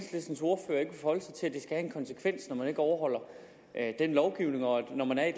konsekvens når man ikke overholder den lovgivning og at når man er i